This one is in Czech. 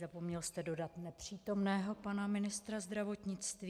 Zapomněl jste dodat - nepřítomného pana ministra zdravotnictví.